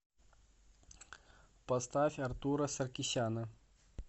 поставь артура саркисяна